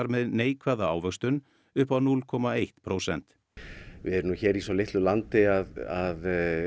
með neikvæða ávöxtun upp á núll komma eitt prósent við erum hér í svo litlu landi að